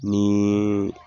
Niiii